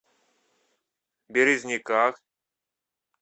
березниках